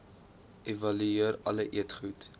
evalueer alle eetgoed